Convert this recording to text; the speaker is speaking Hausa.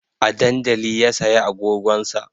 A dandali ya saya agogon sa